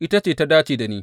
Ita ta dace da ni.